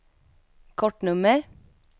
kortnummer